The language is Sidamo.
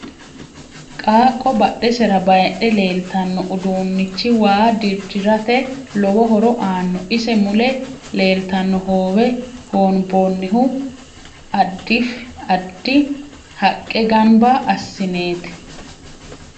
Qaaqo badhesera bayiidhe leeltanno uduunichi waa dirirate lowo horo aanno ise mule leeltanno hoowe hoonboonihu adfi addi haaqe ganba asineeti